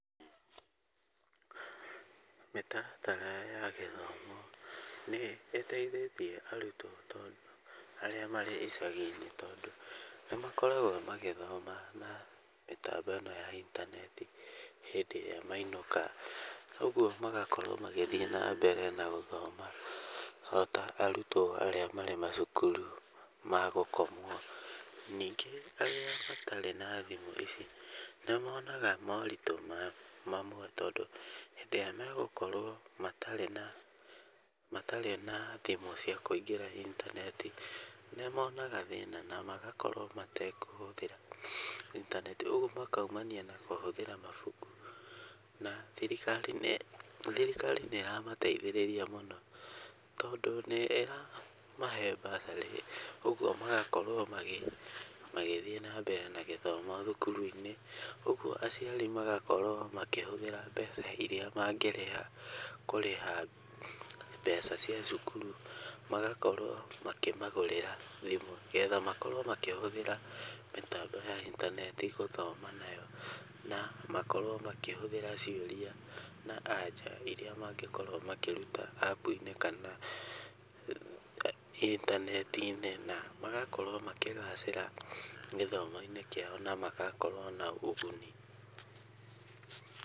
Mĩtaratara ya gĩthomo nĩ ĩteithĩtie arutwo tondũ, arĩa marĩ icagi-inĩ tondũ, nĩmakoragwo magĩthoma na mĩtambo ĩno ya intaneti hĩndĩ ĩrĩa mainũka, ũguo magakorwo magĩthiĩ nambere na gũthoma, ota arutwo arĩa marĩ macukuru magũkomwo. Ningĩ, arĩa matarĩ na thimũ ici, nĩmonaga moritũ mamwe, tondũ hĩndĩ ĩrĩa megũkorwo matarĩ na thimũ cia kũingĩra intaneti, nĩ monaga thĩna na magakorwo metekũhũthĩra intaneti. Ũguo makaumania na kũhũthĩra mabuku. Na thirikari nĩ ĩramateithĩrĩria mũno tondũ nĩ ĩramahe bursary, ũguo magakorwo magĩthiĩ nambere na gĩthomo thukuru-inĩ. Ũguo aciari magakorwo makĩhũthĩra mbeca iria mangĩakorwo makĩhũthĩra kũrĩha mbeca cia cukuru magakorwo makĩmagũrĩra thimũ, nĩgetha makorwo makĩhũthĩra mĩtambo ya intaneti gũthoma nayo, na makorwo makĩhũthĩra cioria na anja iria mangĩkorwo makĩrita App-inĩ kana, intaneti-inĩ, na magakorwo makĩgacĩra gĩthomo-inĩ kĩao na magakorwo na ũgũni.